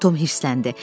Tom hirsləndi.